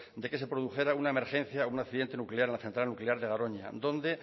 de que se produjera una emergencia o un accidente nuclear en la central nuclear de garoña donde